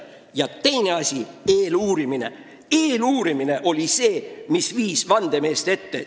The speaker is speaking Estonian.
Ja teine asi oli eeluurimine, mis viis vandemeeste ette.